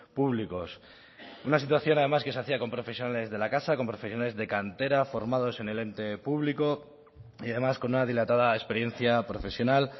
públicos una situación además que se hacía con profesionales de la casa con profesionales de cantera formados en el ente público y además con una dilatada experiencia profesional